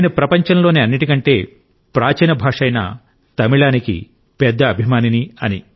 నేను ప్రపంచంలోని అన్నింటికంటే ప్రాచీన భాష అయిన తమిళానికి పెద్ద అభిమానిని